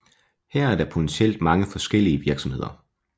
Her er der potentielt mange forskellige virksomheder